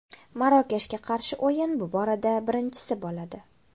Marokashga qarshi o‘yin bu borada birinchisi bo‘ladi.